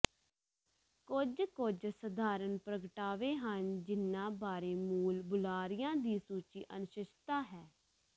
ਕੁਝ ਕੁਝ ਸਧਾਰਨ ਪ੍ਰਗਟਾਵੇ ਹਨ ਜਿਨ੍ਹਾਂ ਬਾਰੇ ਮੂਲ ਬੁਲਾਰਿਆਂ ਦੀ ਸੱਚੀ ਅਨਿਸ਼ਚਿਤਤਾ ਹੈ